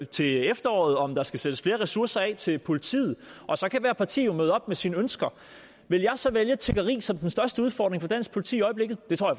til efteråret om der skal sættes flere ressourcer af til politiet og så kan hvert parti jo møde op med sine ønsker vil jeg så vælge tiggeri som den største udfordring for dansk politi i øjeblikket det tror